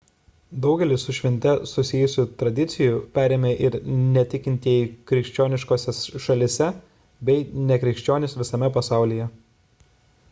daugelį su švente susijusių tradicijų perėmė ir netikintieji krikščioniškose šalyse bei nekrikščionys visame pasaulyje